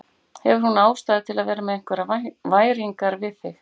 Hefur hún ástæðu til að vera með einhverjar væringar við þig?